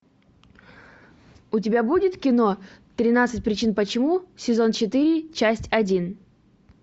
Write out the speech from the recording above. у тебя будет кино тринадцать причин почему сезон четыре часть один